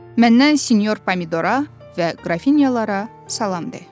Məndən sinyor pomidora və qrafinyalara salam de.